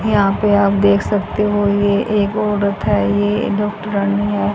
यहां पे आप देख सकते हो ये एगो रथ है ये डॉक्टरानी है--